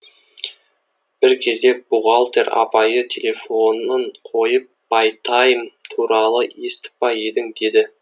бір кезде бухгалтер апайы телефонын қойып байтайм туралы естіп па едің деді